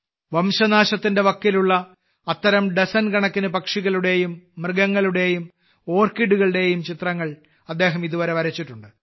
വംശനാശത്തിന്റെ വക്കിലുള്ള അത്തരം ഡസൻ കണക്കിന് പക്ഷികളുടെയും മൃഗങ്ങളുടെയും ഓർക്കിഡുകളുടെയും ചിത്രങ്ങൾ അദ്ദേഹം ഇതുവരെ വരച്ചിട്ടുണ്ട്